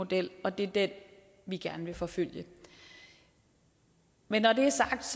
model og det er den vi gerne vil forfølge men når det er sagt